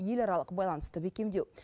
еларалық байланысты бекемдеу